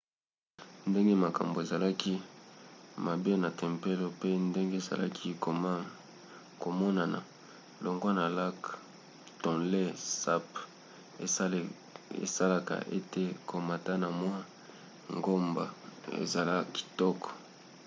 ndenge makambo ezalaki mabe na tempelo pe ndenge ezali komonana longwa na lac tonlé sap esalaka ete komata na mwa ngomba ezala kitoko